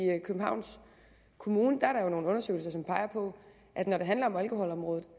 københavns kommune nogle undersøgelser som peger på at når det handler om alkoholområdet